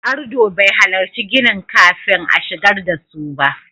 Ardo bai halarci ginin kafin a shigar da su ba.